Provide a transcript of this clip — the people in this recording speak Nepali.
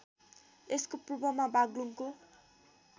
यसको पूर्वमा बागलुङको